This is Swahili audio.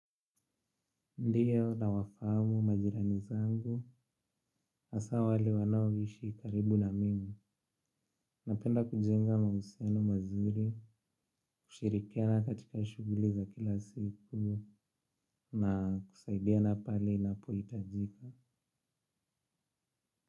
Ndiyo nawafahamu majirani zangu, hasa wale wanaoishi karibu na mimi. Napenda kujenga mahusiano mazuri, kushirikiana katika shughuli za kila siku, na kusaidiana pale inapohitajika.